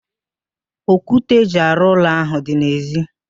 Okwute eji arụ ụlọ ahụ dị n'ezi